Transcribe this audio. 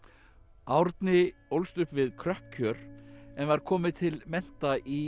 Árni ólst upp við kröpp kjör en var komið til mennta í